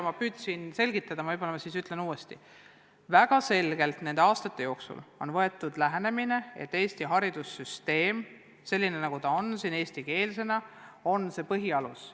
Ma püüdsin teile selgitada, aga selgitan siis uuesti: väga kindlalt on nende aastate jooksul võetud lähenemine, et Eesti haridussüsteemis kehtiv eestikeelne õpe on põhialus.